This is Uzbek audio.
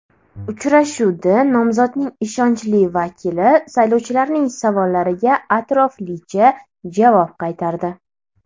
Uchrashuvda nomzodning ishonchli vakili saylovchilarning savollariga atroflicha javob qaytardi.